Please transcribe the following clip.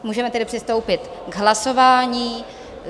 Můžeme tedy přistoupit k hlasování.